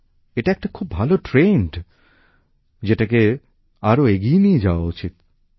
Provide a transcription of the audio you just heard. এটা একটা খুব ভাল প্রবণতা যেটাকে আরও এগিয়ে নিয়ে যাওয়া উচিৎ